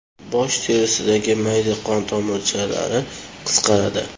Bosh terisidagi mayda qon tomirchalari qisqaradi.